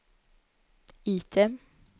item